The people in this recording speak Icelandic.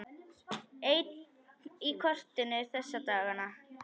Einn í kotinu þessa dagana.